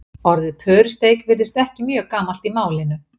Orðið pörusteik virðist ekki mjög gamalt í málinu.